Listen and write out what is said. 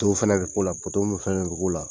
fɛnɛ bi k'u la mun fɛnɛ bi k'u la